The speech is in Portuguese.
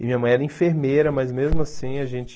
E minha mãe era enfermeira, mas mesmo assim a gente...